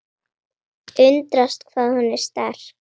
Undrast hvað hún er sterk.